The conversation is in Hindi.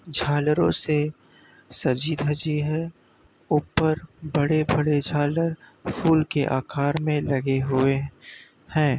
झालरों से सजी धजी है। ऊपर बड़े-बड़े झालर फूल के आकार में लगे हुए हैं।